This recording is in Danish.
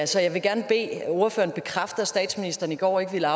så jeg vil gerne bede ordføreren bekræfte at statsministeren i går ikke ville